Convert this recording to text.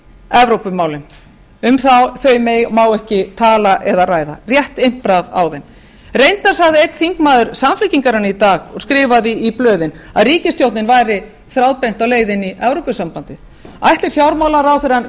evrópumálin um þau má ekki tala eða ræða rétt impra á þeim reyndar sagði einn þingmaður samfylkingarinnar í dag og skrifaði í blöðin að ríkisstjórnin væri þráðbeint á leiðinni í evrópusambandið ætli fjármálaráðherrann